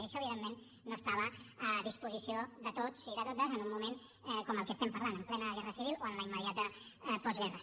i això evidentment no estava a disposició de tots i de totes en un moment com el que estem parlant en plena guerra civil o en la immediata postguerra